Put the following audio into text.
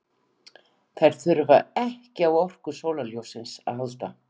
Þær þurfa ekki á orku sólarljóssins að halda.